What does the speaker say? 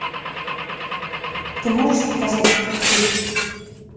ты можешь показать детектив